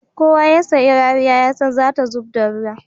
Kowa ya sai rariya yasan zata zubda ruwa